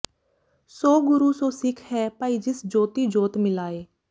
ਸੋ ਗੁਰੂ ਸੋ ਸਿਖੁ ਹੈ ਭਾਈ ਜਿਸੁ ਜੋਤੀ ਜੋਤਿ ਮਿਲਾਇ